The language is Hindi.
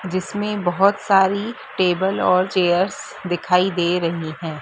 जिसमें बहोत सारी टेबल और चेयर्स दिखाई दे रहीं हैं।